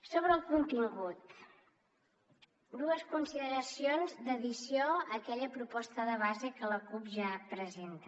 sobre el contingut dues consideracions d’addició a aquella proposta de base que la cup ja presenta